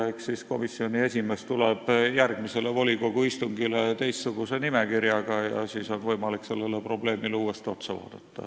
Eks siis komisjoni esimees tuleb järgmisele volikogu istungile teistsuguse nimekirjaga ja siis on võimalik seda probleemi uuesti vaadata.